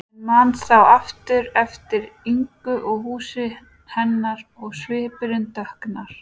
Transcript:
En man þá aftur eftir Ingu og húsi hennar og svipurinn dökknar.